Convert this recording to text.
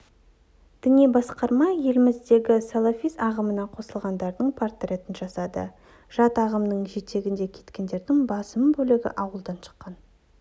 діни басқарма еліміздегі салафизм ағымына қосылғандардың портретін жасады жат ағымның жетегінде кеткендердің басым бөлігі ауылдан шыққан